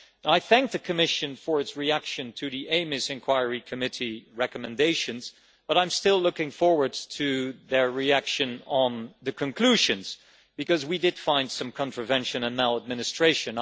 I thank the Commission for its reaction to the EMIS inquiry committee recommendations, but I am still looking forward to their reaction on the conclusions, because we did find some contravention and maladministration.